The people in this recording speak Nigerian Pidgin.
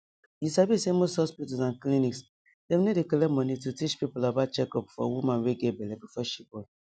you sabi sey most hospitals and clinics dem no dey collect money to teach people about checkup for woman wey get belle before she born